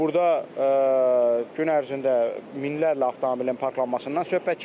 Burda gün ərzində minlərlə avtomobilin parklanmasından söhbət gedir.